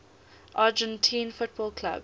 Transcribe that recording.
argentine football clubs